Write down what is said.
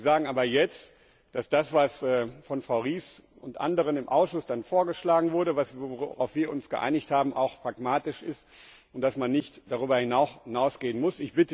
Sie sagen aber jetzt, dass das, was von Frau Ries und anderen im Ausschuss vorgeschlagen wurde, worauf wir uns geeinigt haben, auch pragmatisch ist, und dass man nicht darüber hinausgehen muss.